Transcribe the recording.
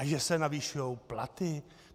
A že se navyšují platy?